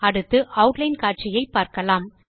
அடுத்து ஆட்லைன் காட்சியை பார்க்கலாம்